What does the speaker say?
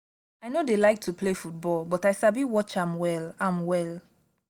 i no dey like to play football but i sabi watch am well am well